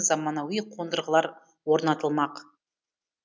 заманауи қондырғылар орнатылмақ